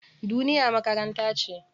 Duniya makaranta ce.